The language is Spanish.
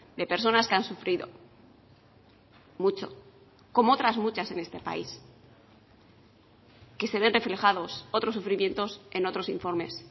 de personas que han sufrido mucho como otras muchas en este país que se ven reflejados otros sufrimientos en otros informes